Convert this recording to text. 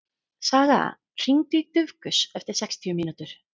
Saga, hringdu í Dufgus eftir sextíu mínútur.